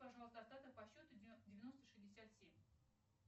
пожалуйста остаток по счету девяносто шестьдесят семь